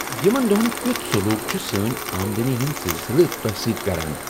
یِمن دۄہن کِیُتھ سلوک چُھ سٲنۍ آمدنی ہٕندۍ سلسلہٕ تۄہِہ سۭتۍ کران ؟